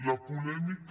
la polèmica